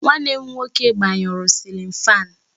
Nwanne m nwoke gbanyuru cilin fáan